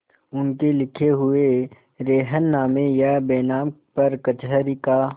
उनके लिखे हुए रेहननामे या बैनामे पर कचहरी का